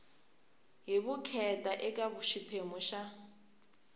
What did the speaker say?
hi vukheta eka xiphemu xa